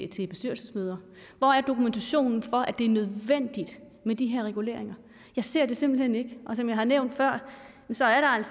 til bestyrelsesmøder hvor er dokumentationen for at det er nødvendigt med de her reguleringer jeg ser det simpelt hen ikke og som jeg har nævnt før